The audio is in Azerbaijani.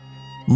Mo Yan.